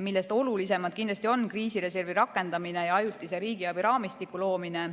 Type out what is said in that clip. millest olulisemad kindlasti on kriisireservi rakendamine ja ajutise riigiabiraamistiku loomine.